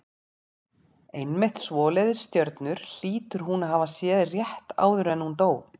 Einmitt svoleiðis stjörnur hlýtur hún að hafa séð rétt áður en hún dó.